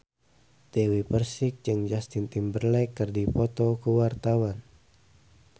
Dewi Persik jeung Justin Timberlake keur dipoto ku wartawan